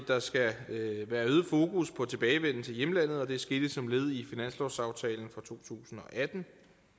der skal være øget fokus på tilbagevenden til hjemlandet og det skete som led i finanslovsaftalen for to tusind og atten